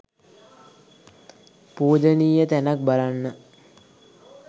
පූජනීය තැනක් බලන්න